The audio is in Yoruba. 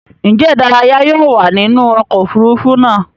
Njé ìdárayá yóò wá nínú oko òfurufú náa?